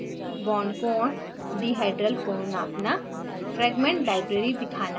bond की लम्बाई bond कोण डीहाइड्राल कोण नापना